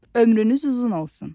Ömrünüz uzun olsun!